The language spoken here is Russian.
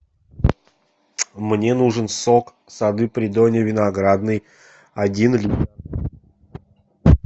мне нужен сок сады придонья виноградный один литр